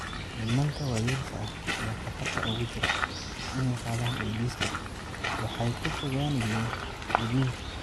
"Nimanka waayeelka ah ee khatarta ugu jira inay qaadaan AIDS-ka waxay ka fogaanayeen gudniinka.